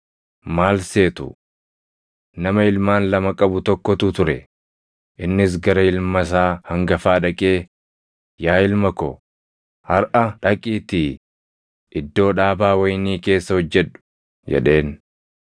“Maal seetu? Nama ilmaan lama qabu tokkotu ture; innis gara ilma isaa hangafaa dhaqee, ‘Yaa ilma ko, harʼa dhaqiitii iddoo dhaabaa wayinii keessa hojjedhu’ jedheen.